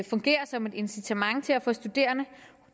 fungerer som incitament til at få studerende